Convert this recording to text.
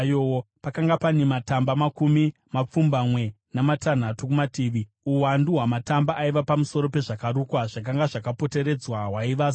Pakanga pane matamba makumi mapfumbamwe namatanhatu kumativi; uwandu hwamatamba aiva pamusoro pezvakarukwa zvakanga zvakapoteredzwa hwaiva zana.